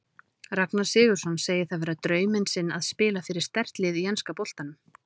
Ragnar Sigurðsson segir það vera drauminn sinn að spila fyrir sterkt lið í enska boltanum.